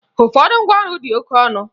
Ụfọdụ ngwaọrụ dị oke ọnụ